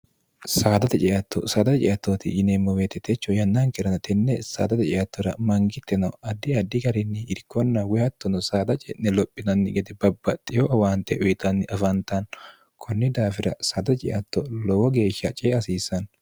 saadate ceatto saadae ceattooti yineemmo weetitecho yannaankirano tenne saadate ceattora mangitte no addi addi garinni irkonna woyhattono saada ce'ne lophinanni gede babbaxxiyo awaante uyixanni afantanno kunni daafira saada ceatto lowo geeshsha cee hasiissanno